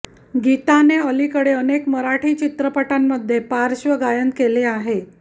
गीताने अलीकडील अनेक मराठी चित्रपटांमध्ये पार्श्वगायन केले आहे